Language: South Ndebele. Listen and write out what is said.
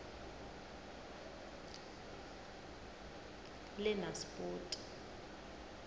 lenaspoti